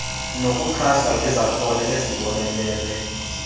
nokuxhasa ngezakhono ezibonelelwa